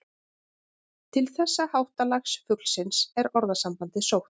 Til þessa háttalags fuglsins er orðasambandið sótt.